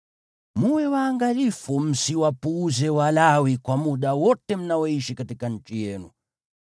Mwe waangalifu msiwapuuze Walawi kwa muda wote mnaoishi katika nchi yenu.